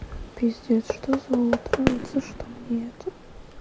пиздец что за утро вот за что мне это